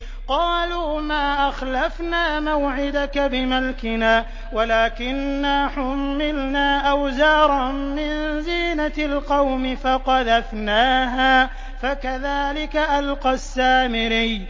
قَالُوا مَا أَخْلَفْنَا مَوْعِدَكَ بِمَلْكِنَا وَلَٰكِنَّا حُمِّلْنَا أَوْزَارًا مِّن زِينَةِ الْقَوْمِ فَقَذَفْنَاهَا فَكَذَٰلِكَ أَلْقَى السَّامِرِيُّ